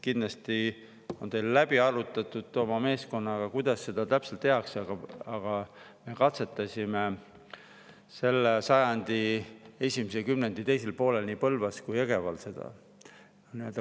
Kindlasti on teil läbi arutatud oma meeskonnaga, kuidas seda täpselt tehakse, aga me katsetasime seda käesoleva sajandi esimese kümnendi teisel poolel Põlvas ja Jõgeval.